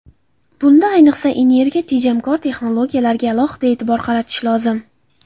Bunda, ayniqsa, energiya tejamkor texnologiyalarga alohida e’tibor qaratish lozim.